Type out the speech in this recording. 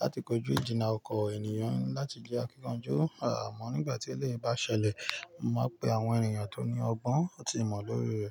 láti kojú ìjìnnà ọkọ ènìyàn láti jẹ́ akíkanjú, a mọ̀ nígbà tí ilé bá ṣẹlẹ̀, mo máa pe àwọn ènìyàn tó ní ọgbọ́n àti ìmọ̀ lóye rẹ̀